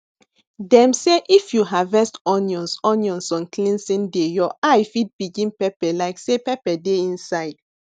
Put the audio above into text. dem say if you harvest onions onions on cleansing day your eye fit begin pepper like say pepper dey inside